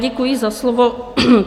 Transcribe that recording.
Děkuji za slovo.